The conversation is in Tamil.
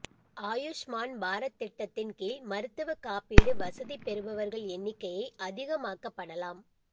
ஆயுஷ்மான் பாரத் திட்டத்தின் கீழ் மருத்துவ காப்பீடு வசதி பெறுபவர்கள் எண்ணிக்கையை அதிகமாக்கப்படலாம்